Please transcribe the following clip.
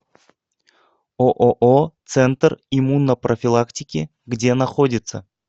ооо центр иммунопрофилактики где находится